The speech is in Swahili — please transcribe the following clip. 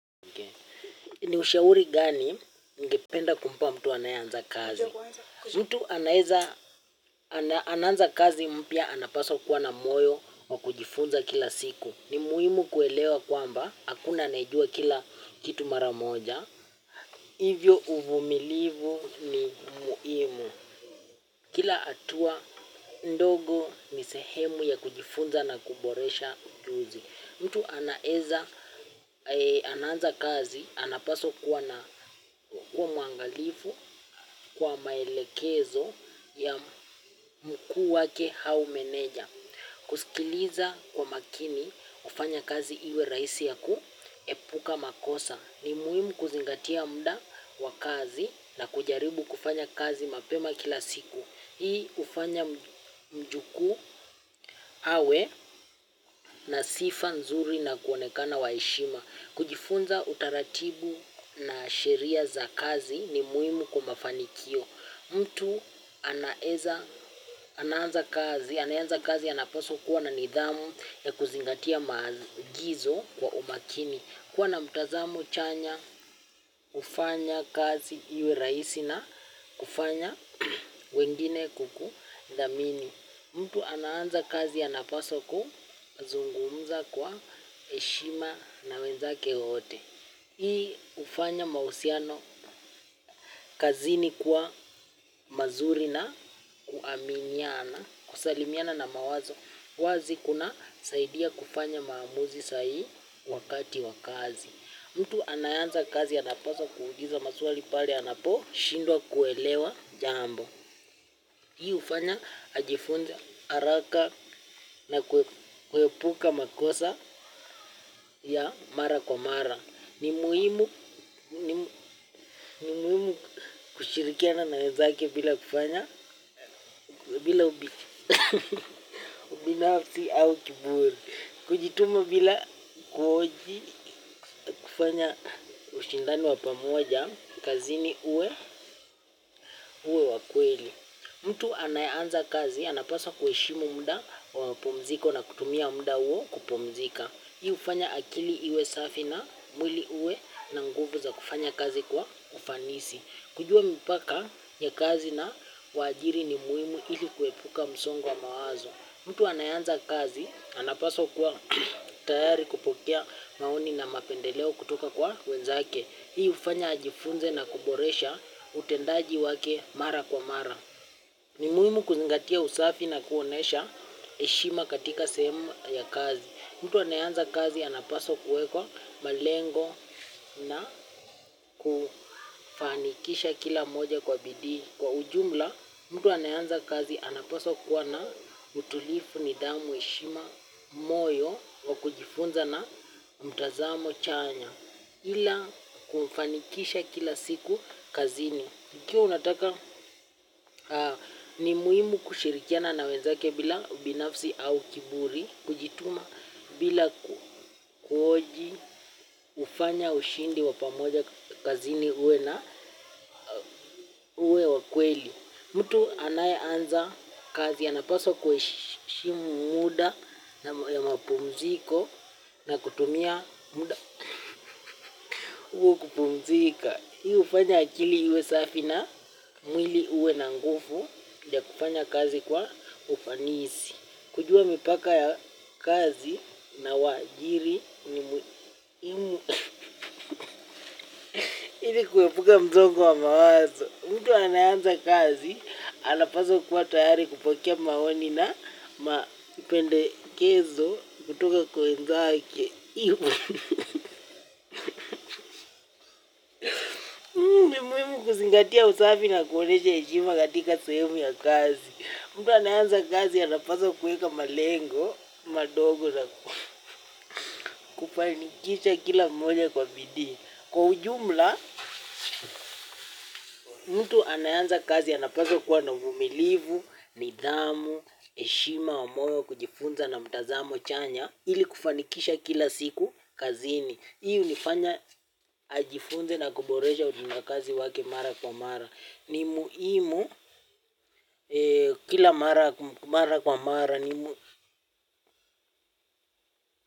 Ni ushauri gani ningependa kumpa mtu anaye anza kazi? Mtu anaweza anaanza kazi mpya anapaswa kuwa na moyo wa kujifunza kila siku. Ni muhimu kuelewa kwamba, hakuna anayejua kila kitu mara moja. Hivyo uvumilivu ni muhimu. Kila hatua ndogo ni sehemu ya kujifunza na kuboresha ujuzi. Mtu anaweza anaanza kazi, anapaswa kuwa muangalifu kwa maelekezo ya mkuu wake hau meneja. Kusikiliza kwa makini, hufanya kazi iwe rahisi ya kuhepuka makosa. Ni muhimu kuzingatia muda wa kazi na kujaribu kufanya kazi mapema kila siku. Hii hufanya mjukuu awe na sifa nzuri na kuonekana wa heshima. Kujifunza utaratibu na sheria za kazi ni muhimu kwa mafanikio. Mtu anaweza, anaanza kazi anapaswa kuwa na nidhamu ya kuzingatia maagizo kwa umakini. Kuwa na mtazamo chanya hufanya kazi iwe rahisi na kufanya wengine kukudhamini. Mtu anaanza kazi anapaswa kuzungumza kwa heshima na wenzake wote. Hii hufanya mahusiano, kazini kuwa mazuri na kuaminiana kusalimiana na mawazo. Wazi kuna saidia kufanya maamuzi sahihi wakati wa kazi. Mtu anayeanza kazi anapaswa kuuliza maswali pale anapo shindwa kuelewa jambo. Hii hufanya ajifunze haraka na kuhepuka makosa ya mara kwa mara. Ni muhimu kushirikiana na wenzake bila kufanya, bila ubinafsi au kiburi. Kujituma bila kuoji kufanya ushindani wa pamoja, kazini uwe, wa kweli. Mtu anaye anza kazi, anapaswa kuheshimu muda wa pumziko na kutumia muda huwo kupumzika. Hii hufanya akili iwe safi na mwili uwe na nguvu za kufanya kazi kwa ufanisi. Kujua mipaka ya kazi na uwajiri ni muhimu ili kuhepuka msongo wa mawazo. Mtu anaye anza kazi, anapaswa kuwa tayari kupokea maoni na mapendeleo kutoka kwa wenzake. Hii hufanya ajifunze na kuboresha utendaji wake mara kwa mara ni muhimu kuzingatia usafi na kuonyesha heshima katika sehemu ya kazi. Mtu anaye anza kazi anapaswa kuweka malengo na kufanikisha kila moja kwa bidii. Kwa ujumla mtu anaye anza kazi anapaswa kuwa na utulivu nidhamu heshima moyo wa kujifunza na mtazamo chanya ila kufanikisha kila siku kazini ikiwa unataka ni muhimu kushirikiana na wenzake bila ubinafsi au kiburi kujituma bila kuhoji hufanya ushindi wa pamoja kazini uwe na uwe wa kweli. Mtu anaye anza kazi anapaswa kuheshimu muda ya mapumziko na kutumia muda huo kupumzika. Hii hufanya akili iwe safi na mwili huwe na nguvu ya kufanya kazi kwa ufanisi. Kujua mipaka ya kazi na waajiri ni muhimu. Ili kuhepuka msongo wa mawazo. Mtu anaye anza kazi, anapaswa kuwa tayari kupokea maoni na mapendekezo kutoka kwa wenzake. Kuzingatia usafi na kuonyesha heshima katika sehemu ya kazi. Mtu anaye anza kazi, anapaswa kuweka malengo, madogo na kufanikisha kila moja kwa bidii. Kwa ujumla mtu anaye anza kazi anapaswa kuwa na uvumilivu nidhamu na heshima ya moyo kujifunza na mtazamo chanya ili kufanikisha kila siku kazini. Hii hunifanya ajifunze na kuboresha utenda kazi wake mara kwa mara. Ni muhimu, kila mara kwa mara.